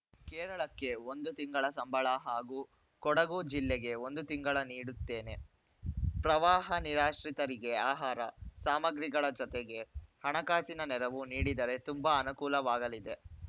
ಕೇರಳಕ್ಕೆ ಒಂದು ತಿಂಗಳ ಸಂಬಳ ಹಾಗೂ ಕೊಡಗು ಜಿಲ್ಲೆಗೆ ಒಂದು ತಿಂಗಳ ನೀಡುತ್ತೇನೆ ಪ್ರವಾಹ ನಿರಾಶ್ರಿತರಿಗೆ ಆಹಾರ ಸಾಮಗ್ರಿಗಳ ಜತೆಗೆ ಹಣಕಾಸಿನ ನೆರವು ನೀಡಿದರೆ ತುಂಬಾ ಅನುಕೂಲವಾಗಲಿದೆ